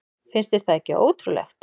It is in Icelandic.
Finnst þér það ekki ótrúlegt?